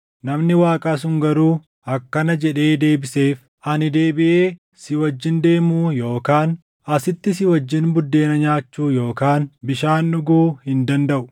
Namni Waaqaa sun garuu akkana jedhee deebiseef; “Ani deebiʼee si wajjin deemuu yookaan asitti si wajjin buddeena nyaachuu yookaan bishaan dhuguu hin dandaʼu.